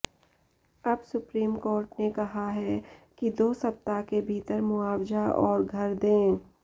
अब Supreme Court ने कहा है कि दो सप्ताह के भीतर मुआवजा और घर दें